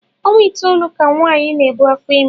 Ọnwa itoolu ka nwaanyị na-ebu afọ ime